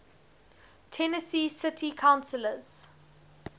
tennessee city councillors